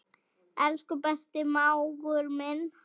Elsku besti mágur minn.